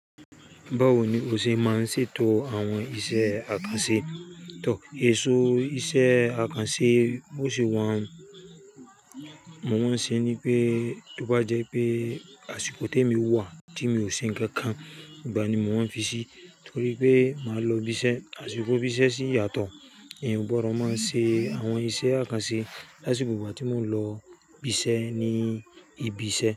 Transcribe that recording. Báwo ni o ṣe máa ń ṣètò àwọn iṣẹ́ àkànṣe? Tọ, èso iṣẹ́ àkànṣe bó ṣe wà, mo máa ń ṣe ní pé tó bá jẹ́ pé àsìkò te mi ò wà tí mi ò ṣe nǹkan kan, ìgbà ni mo máa ń fi ṣí torí pé màá lọ ibiṣẹ́. Àsìkò ibiṣẹ́ ṣí yàtọ̀, èyàn ó gbọ́dọ̀ máa ṣe àwọn iṣẹ́ àkànṣe lásìkò ìgbà tí mo ń lọ ibiṣẹ́ ní ibi iṣẹ́.